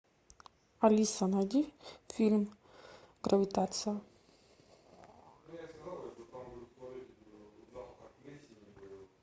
алиса найди фильм гравитация